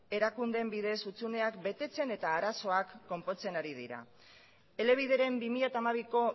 erakundeen bidez hutsuneak betetzen eta arazoak konpontzen ari dira elebideren bi mila hamabiko